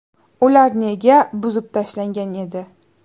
Ular nega buzib tashlangan edi?.